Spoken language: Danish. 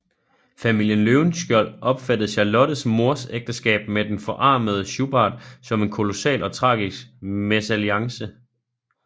Familien Løvenskiold opfattede Charlottes mors ægteskab med den forarmede Schubart som en kolossal og tragisk mesalliance